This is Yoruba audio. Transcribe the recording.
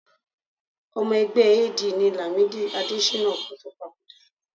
Ọmọ ẹgbẹ́ AD ni Làmídì Adéṣínà kó tó papòdà